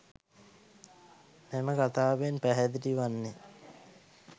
මෙම කතාවෙන් පැහැදිලි වන්නේ